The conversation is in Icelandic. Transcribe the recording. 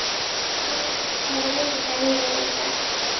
Jóanna, hvaða vikudagur er í dag?